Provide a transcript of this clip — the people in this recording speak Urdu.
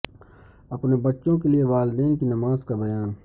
اپنے بچوں کے لئے والدین کی نماز کا بیان